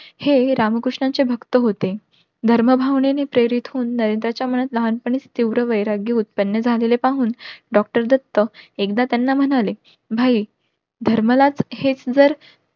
हे रामकृष्णांचा भक्त होते. धर्म भावनेने प्रेरित होऊन नरेंद्राच्या मनात लहान पाणीच तीव्र वैराग्य उत्पन्न झालेले पाहून doctor दत्त एकदा त्यांना म्हणाले भाई धर्मलाच हेच जर